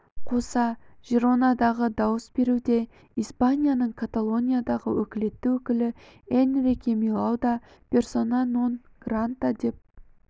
қоса жиронадағы дауыс беруде испанияның каталониядағы өкілетті өкілі энрике милау да персона нон грата деп